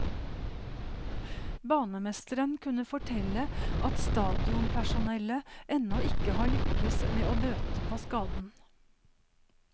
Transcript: Banemesteren kunne fortelle at stadionpersonellet ennå ikke har lykkes med å bøte på skaden.